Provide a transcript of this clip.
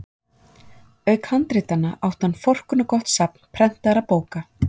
Auk handritanna átti hann forkunnargott safn prentaðra bóka.